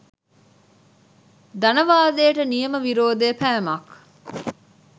ධනවාදයට නියම විරෝධය පෑමක්